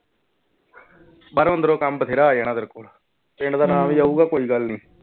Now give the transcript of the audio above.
ਪਰ ਉੱਧਰੋਂ ਕੰਮ ਬਥੇਰਾ ਆ ਜਾਣਾ ਤੇਰੇ ਕੋਲ ਪਿੰਡ ਦਾ ਨਾਂ ਵੀ ਆਊਗਾ ਕੋਈ ਗੱਲ ਨੀ।